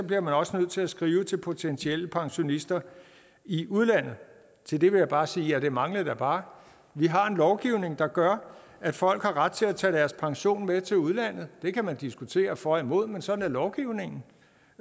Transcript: bliver man også nødt til at skrive det til potentielle pensionister i udlandet til det vil jeg bare sige ja det manglede da bare vi har en lovgivning der gør at folk har ret til at tage deres pension med til udlandet det kan man diskutere for og imod men sådan er lovgivningen